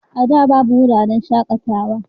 A da babu wuraren shakatawa